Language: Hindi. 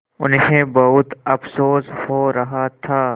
उन्हें बहुत अफसोस हो रहा था